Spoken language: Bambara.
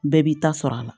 Bɛɛ b'i ta sɔrɔ a la